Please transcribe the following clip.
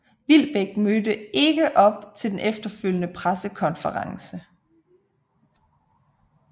Wilbek mødte ikke op til den efterfølgende pressekonference